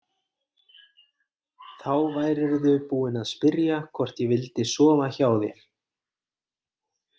Þá værirðu búinn að spyrja hvort ég vildi sofa hjá þér.